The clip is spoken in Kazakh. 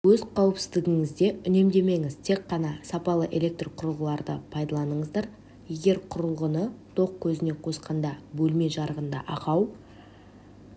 өз қауіпсіздігіңізде үнемдемеңіз тек қана сапалы электрқұрылғыларды пайдаланыңыздар егер құрылғыны тоқ көзіне қосқанда бөлме жарығында ақау